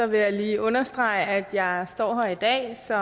vil jeg lige understrege at jeg står her i dag